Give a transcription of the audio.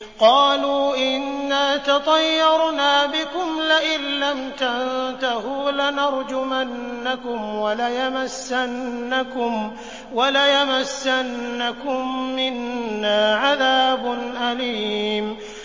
قَالُوا إِنَّا تَطَيَّرْنَا بِكُمْ ۖ لَئِن لَّمْ تَنتَهُوا لَنَرْجُمَنَّكُمْ وَلَيَمَسَّنَّكُم مِّنَّا عَذَابٌ أَلِيمٌ